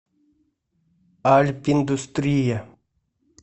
альпиндустрия